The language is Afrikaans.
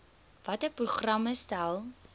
watter programme stel